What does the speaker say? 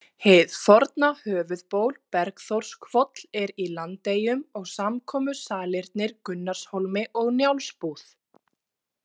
Hið forna höfuðból Bergþórshvoll er í Landeyjum og samkomusalirnir Gunnarshólmi og Njálsbúð.